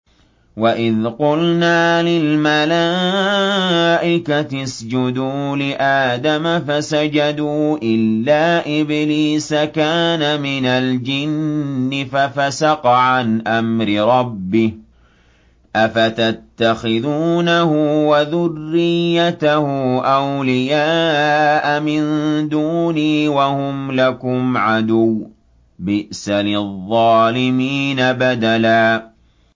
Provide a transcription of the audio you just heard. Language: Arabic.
وَإِذْ قُلْنَا لِلْمَلَائِكَةِ اسْجُدُوا لِآدَمَ فَسَجَدُوا إِلَّا إِبْلِيسَ كَانَ مِنَ الْجِنِّ فَفَسَقَ عَنْ أَمْرِ رَبِّهِ ۗ أَفَتَتَّخِذُونَهُ وَذُرِّيَّتَهُ أَوْلِيَاءَ مِن دُونِي وَهُمْ لَكُمْ عَدُوٌّ ۚ بِئْسَ لِلظَّالِمِينَ بَدَلًا